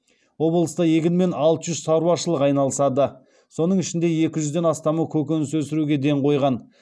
облыста егінмен алты жүз шаруашылық айналысады соның ішінде екі жүзден астамы көкөніс өсіруге ден қойған